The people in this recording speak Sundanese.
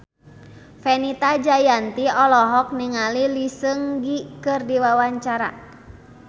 Fenita Jayanti olohok ningali Lee Seung Gi keur diwawancara